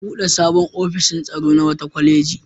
An buɗe sabon ofishin tsaro na wata kwaleji.